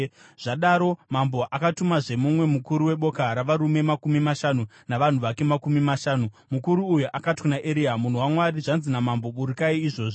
Zvadaro mambo akazotumazve mumwe mukuru weboka ravarume makumi mashanu navanhu vake makumi mashanu! Mukuru uyu akati kuna Eria, “Munhu waMwari, zvanzi namambo, ‘Burukai izvozvi!’ ”